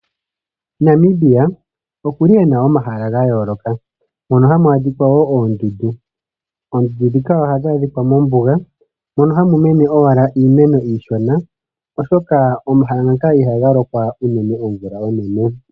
Namibia okuli ena omahala ga yooloka, mono hamu adhika woo oondundu. Oondundu ndhika ohadhi adhika mombuga, mono hamu mene owala iimeno iishona, oshoka omahala ngaka ihaga lokwa unene omvula onene.